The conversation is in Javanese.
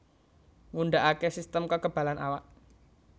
Ngundhakake sistem kekebalan awak